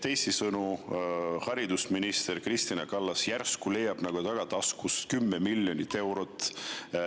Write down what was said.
Teisisõnu, haridusminister Kristina Kallas leiab järsku tagataskust 10 miljonit eurot.